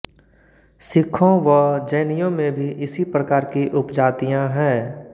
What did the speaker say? सिक्खों व जैनियों में भी इसी प्रकार की उपजातियाँ हैं